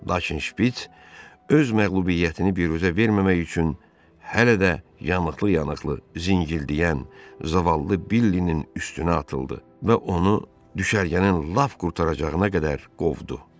Lakin Şpiç öz məğlubiyyətini biruzə verməmək üçün hələ də yanıqlı-yanıqlı zingildəyən, zavallı Billinin üstünə atıldı və onu düşərgənin lap qurtaracağına qədər qovdu.